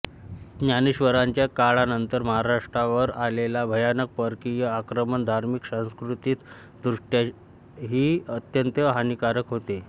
ज्ञानेश्वरांच्या काळानंतर महाराष्ट्रावर आलेले भयानक परकीय आक्रमण धार्मिक सांस्कृतिक दृष्ट्याही अत्यंत हानीकारक होते